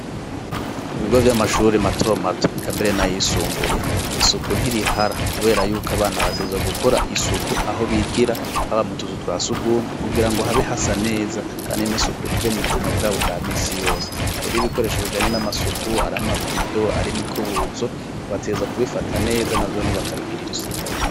ku bigo vy'amashuri mato mato eka mbere n'ayisumbuye isuku ntirihara kubera yuko abana bategerezwa gukora isuku aho bigira haba mu tuzu twa sugumwe kugira ngo habe hasa neza kandi n'isuku rije mu buzima bwabo bwa minsi yose rero ibikoresho bijanye n'amasuku ari ama bido ari imikubuzo bategerezwa kubifata neza na vyone bakabigirira isuku.